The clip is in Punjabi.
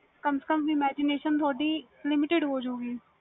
ਕੰਮ ਸੇ ਕੰਮ imgination ਤੁਹਾਡੀ limited ਹੋ ਜਾਵੇ ਗੀ